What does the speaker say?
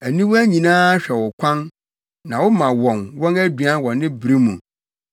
Aniwa nyinaa hwɛ wo kwan, na woma wɔn, wɔn aduan wɔ ne bere mu.